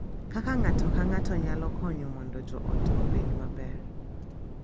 Kaka ng’ato ka ng’ato nyalo konyo mondo joot obed maber.